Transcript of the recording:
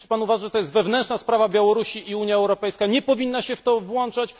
Czy Pan uważa, że to jest wewnętrzna sprawa Białorusi i Unia Europejska nie powinna się w to włączać?